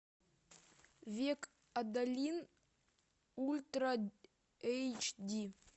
век адалин ультра эйч ди